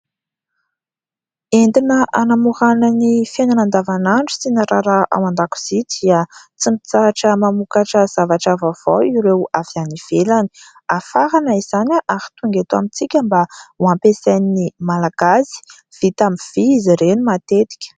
Entina hanamorana ny fiainana andavanandro sy ny raharaha ao an-dakozia dia tsy mitsahatra mamokatra zavatra vaovao ireo avy any ivelany ; hafarana izany ary tonga eto amintsika mba ho ampiasain'ny Malagasy. Vita amin'ny vy izy ireny matetika.